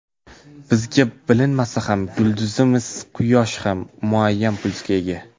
Bizga bilinmasa ham, yulduzimiz Quyosh ham muayyan pulsga ega.